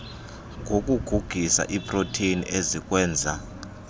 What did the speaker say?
ngokugugisa iiproteni ezikwenza